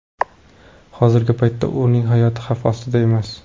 Hozirgi paytda ularning hayoti xavf ostida emas.